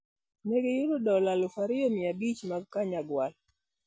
Ne giyudo dola 2,500 mag Kanyagwal.